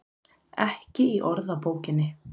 Ekki í orðabókinni.